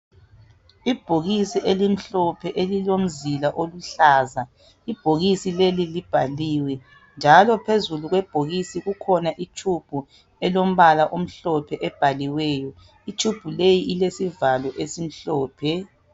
Ibhokisi elimhlophe elilomzila oluhlaza ibhokisi lelo libhaliwe njalo phezulu kwebhokisi kukhona itshubhu elombala omhloohe ebhaliweyo itshubhu leyi ilesivalo esimhlophe